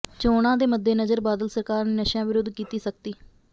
ਚੋਣਾਂ ਦੇ ਮੱਦੇਨਜ਼ਰ ਬਾਦਲ ਸਰਕਾਰ ਨੇ ਨਸ਼ਿਆਂ ਵਿਰੁੱਧ ਕੀਤੀ ਸਖ਼ਤੀ